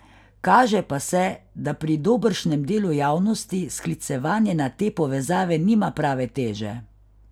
Kaže pa se, da pri dobršnem delu javnosti sklicevanje na te povezave nima prave teže.